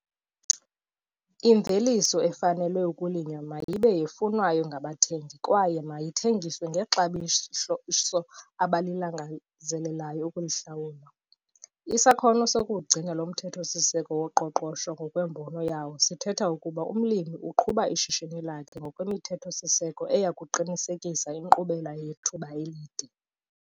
Imveliso efanele ukulinywa mayibe yefunwayo ngabathengi kwaye mayithengiswe ngexabiso abalangazelelayo ukulihlawula. Isakhono sokuwugcina lo mthetho-siseko woqoqosho ngokwembono yawo sithetha ukuba umlimi uqhuba ishishini lakhe ngokwemithetho-siseko eya kuqinisekisa inkqubela yethuba elide.